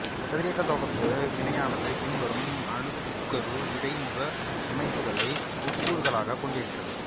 கதிரியக்கத் தொகுப்பு வினையானது பின்வரும் அணுக்கரு இடைமுக அமைப்புகளை உட்கூறுகளாகக் கொண்டிருக்கிறது